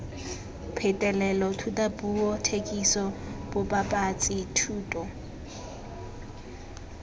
phetolelo thutapuo thekiso bobapatsi thuto